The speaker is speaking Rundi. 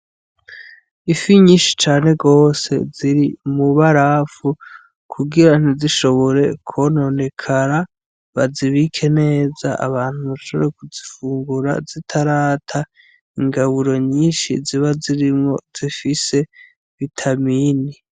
Ifi nyishi cane gose ziri mw'ibarafu, kugira ntizishobore kononekara bazibike neza abantu bashobore kuzifungura zitarata ingaburo nyinshi ziba zirimwo zifise vitamini.